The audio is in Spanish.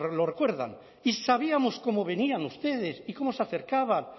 lo recuerdan y sabíamos cómo venían ustedes y cómo se acercaban